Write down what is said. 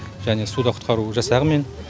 және де суда құтқару жасағымен